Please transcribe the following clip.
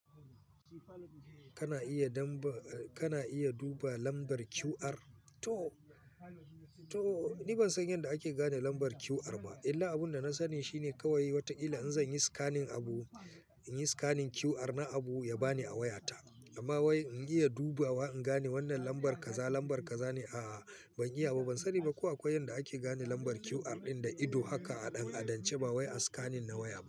Kana iya duba lambar QR? To ni ban san yadda ake gane lambar QR ba illa abin da na sani shine kawai watakila in zan yi scanning abu, in yi scanning QR na abu ya ba ni a wayata amma wai in iya dubawa in gane wannan lambar kaza lambar kaza a'a ban iya ba ban sani ba ko akwai yanda ake gane lambar QR ɗin da ido haka a ɗan adance ba wai a scanning na waya ba.